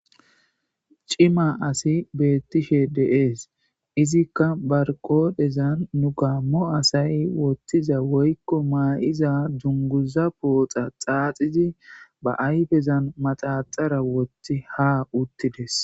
Cima asi beettishe deees izikka barqoodhezan nu gaammo asay wottiza woykko maayiza junguza pooxa xaaxizi ba ayfezan maxaxara wotti ha uttides.